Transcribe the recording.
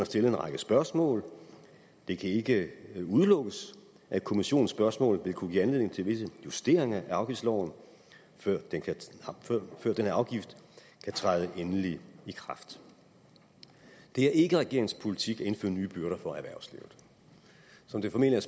stillet en række spørgsmål det kan ikke udelukkes at kommissionens spørgsmål vil kunne give anledning til visse justeringer af afgiftsloven før denne afgift kan træde endeligt i kraft det er ikke regeringens politik at indføre nye byrder for erhvervslivet som det formentlig